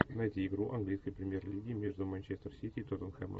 найти игру английской премьер лиги между манчестер сити и тоттенхэмом